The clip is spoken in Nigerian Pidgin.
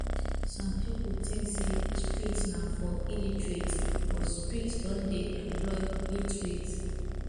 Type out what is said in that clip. some pipo think say street na for illiterates but street don de employ literates